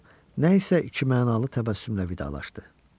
Deyə o nə isə ikimənalı təbəssümlə vidalaşdı.